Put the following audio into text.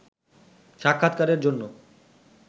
সাক্ষাৎকারের জন্য